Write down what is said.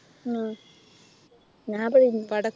ആഹ് ഞാനിവിടെ